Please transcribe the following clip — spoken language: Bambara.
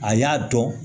A y'a dɔn